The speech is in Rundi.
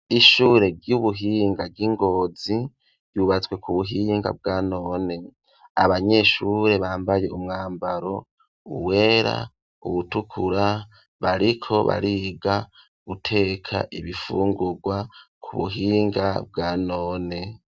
Ishure ry'ubuhinga, ry'i Ngozi, ryubatswe ku buhinga bwa none; abanyeshure bambaye umwambaro, uwera, uwutukura; bariko bariga guteka, ibifungurwa, ku buhinga bwa none.